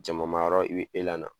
Jamamayɔrɔ i bi